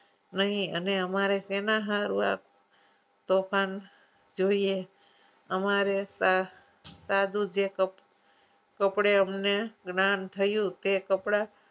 નહિ અને અમારે સેના હારુ આ તોફાન જોઈએ અમારે તો સાધુ જે કપડું કપડે અમને જ્ઞાન થયું તે કપડાં